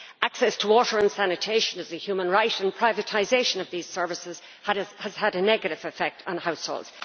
Access to water and sanitation is a human right, and privatisation of these services has had a negative effect on households.